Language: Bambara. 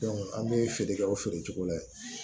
an bɛ feere kɛ o feerecogo la yen